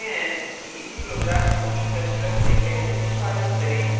अब देखते हैं कि इसी program को c ++ में कैसे निष्पादित करें